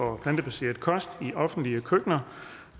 og plantebaseret kost i offentlige køkkener